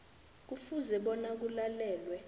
kufuze bona kulalelwe